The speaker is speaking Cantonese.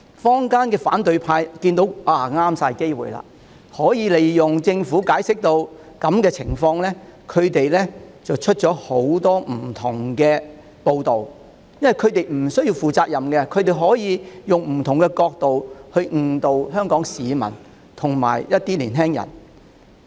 坊間的反對派見此為大好機會，利用政府解釋的不足，發出各種不同的報道，因為他們無須負責任，所以便可利用不同角度誤導香港市民和青年人。